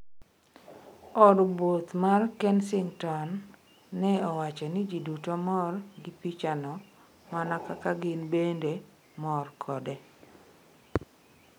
Od buoth mar Kensington ne owacho ni ji duto mor gi picha no mana kaka gin bende mor kode.